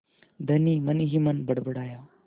धनी मनहीमन बड़बड़ाया